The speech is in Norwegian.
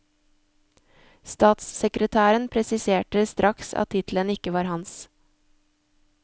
Statssekretæren presiserte straks at tittelen ikke var hans.